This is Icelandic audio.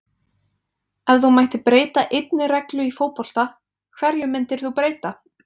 Ef þú mættir breyta einni reglu í fótbolta, hverju myndir þú breyta??